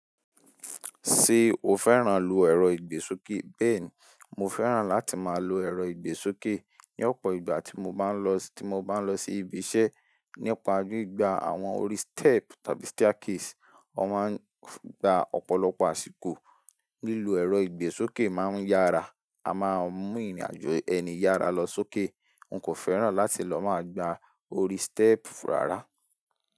Ṣé o fẹ́ràn lu ẹ̀rọ ìgbésókè? Bẹ́ẹ̀ni, mo fẹ́ràn láti máa lo ẹ̀rọ ìgbésókè ní ọ̀pọ̀ ìgbà tí mo bá ń lọ, tí mo bá ń lọ sí ibi iṣẹ́. Nípa gbigbaj àwọn orí step tàbí staircase, wọ́n máa ń gba ọ̀pọ̀lọpọ̀ àsìkò. Lílọ ẹ̀rọ ìgbésókè máa ń yára, a máa ń mú ìrìnàjò ẹni yára lọ sókè. N kò fẹ́ràn láti lọ máa gba orí step rárá.